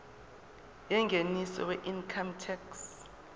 yengeniso weincome tax